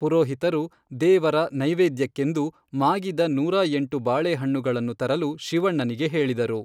ಪುರೋಹಿತರು, ದೇವರ ನೈವೆದ್ಯಕ್ಕೆಂದು, ಮಾಗಿದ ನೂರಾ ಎಂಟು ಬಾಳೆಹಣ್ಣುಗಳನ್ನು ತರಲು ಶಿವಣ್ಣನಿಗೆ ಹೇಳಿದರು.